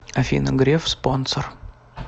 афина греф спонсор